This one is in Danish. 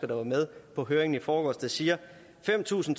der var med på høringen i forgårs der siger at fem tusind